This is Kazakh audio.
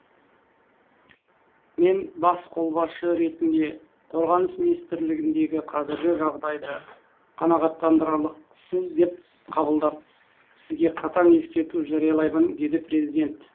мен бас қолбасшы ретінде қорғаныс министрлігіндегі қазіргі жағдайды қанағаттандырарлықсыз деп қабылдап сізге қатаң ескерту жариялаймын деді президент